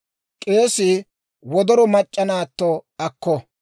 « ‹K'eesii wodoro mac'c'a naatto akko.